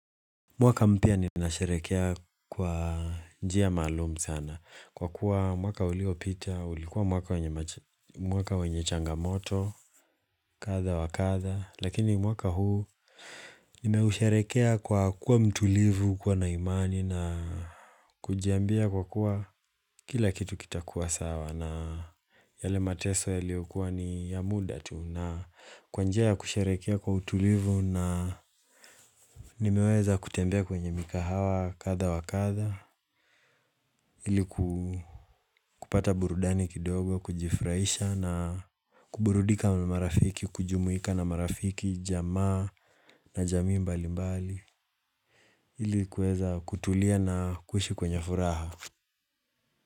Mwaka mpya ninasherehekea kwa njia maalumu sana kwa kuwa mwaka uliopita ulikuwa mwaka wenye mwaka wenye changamoto kadha wa kadha lakini mwaka huu Nimeusherehekea kwa kuwa mtulivu, kuwa na imani na kujiambia kwa kuwa kila kitu kitakuwa sawa na yale mateso yaliyokuwa ni ya muda tu na kwa njia ya kusherehekea kwa utulivu na nimeweza kutembea kwenye mikahawa kadha wa kadha ili ku kupata burudani kidogo kujifurahisha na kuburudika na marafiki kujumuika na marafiki, jamaa na jamii mbali mbali ili kuweza kutulia na kuishi kwenye furaha.